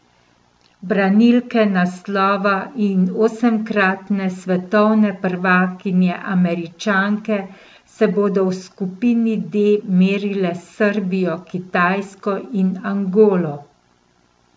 Branilke naslova in osemkratne svetovne prvakinje Američanke se bodo v skupini D merile s Srbijo, Kitajsko in Angolo.